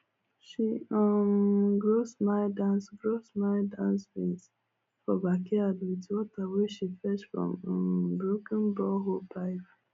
she um grow smile dance grow smile dance beans for backyard with water wey she fetch from um broken borehole pipe